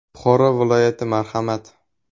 Buxoro viloyati, marhamat.